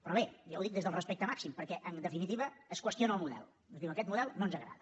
però bé jo ho dic des del respecte màxim perquè en definitiva es qüestiona el model es diu aquest model no ens agrada